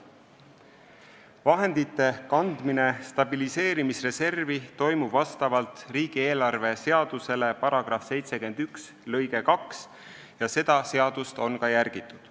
Vahendite kandmine stabiliseerimisreservi toimub vastavalt riigieelarve seaduse § 71 lõikele 2 ja seda seadust on ka järgitud.